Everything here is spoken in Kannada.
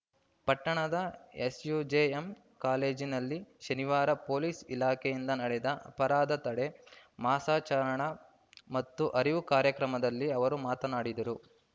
ಪಟ್ಟಣದ ಎಸ್‌ಯುಜೆಎಂ ಕಾಲೇಜಿನಲ್ಲಿ ಶನಿವಾರ ಪೊಲೀಸ್‌ ಇಲಾಖೆಯಿಂದ ನಡೆದ ಅಪರಾಧ ತಡೆ ಮಾಸಾಚರಣೆ ಮತ್ತು ಅರಿವು ಕಾರ್ಯಕ್ರಮದಲ್ಲಿ ಅವರು ಮಾತನಾಡಿದರು